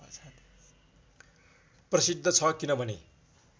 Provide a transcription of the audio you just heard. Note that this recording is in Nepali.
प्रसिद्ध छ किनभने